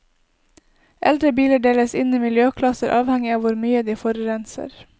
Eldre biler deles inn i miljøklasser avhengig av hvor mye de forurenser.